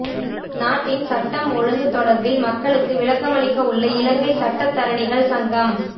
நாட்டின் சட்டம் ஒழுங்கு தொடர்பில் மக்களுக்கு விளக்கமளிக்கவுள்ள இலங்கை சட்டத்தரணிகள் சங்கம்